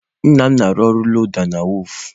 Nna m na-arụ ọrụ loda na wọọfụ.